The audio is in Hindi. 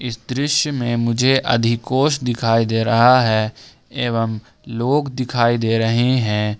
इस दृश्य में मुझे अधिकोष दिखाई दे रहा है एवं लोग दिखाई दे रहे हैं।